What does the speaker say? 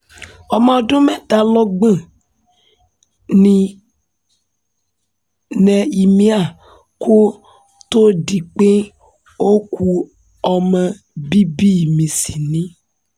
ọmọ ọdún mẹ́tàlọ́gbọ̀n ni nehemiah kò tóó di pé ó ku ọmọ bíbí mi sí ni